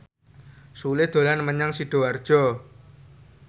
Sule dolan menyang Sidoarjo